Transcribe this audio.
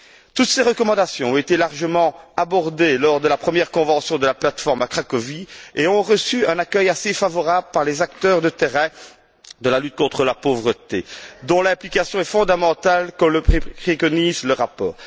Toutes ces recommandations ont été largement abordées lors de la première convention de la plateforme à Cracovie et ont reçu un accueil assez favorable par les acteurs de terrain de la lutte contre la pauvreté, dont l'implication est fondamentale, comme le préconise le rapport.